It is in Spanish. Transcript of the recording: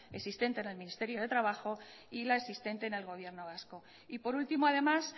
existente en el ministerio de trabajo y la existente en el gobierno vasco y por último además